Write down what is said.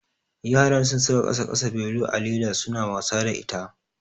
Yaran sun saka ƙasa ƙasa belu a leda suna wasa da ita.